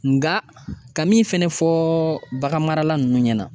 Nka ka min fɛnɛ fɔ baganmarala ninnu ɲɛna